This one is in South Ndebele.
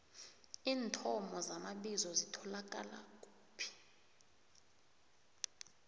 iinthomo zamabizo zitholakala kuphi